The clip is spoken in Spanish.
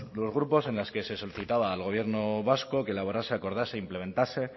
los grupos en la que solicitaba al gobierno vasco que elaborase acordase implementase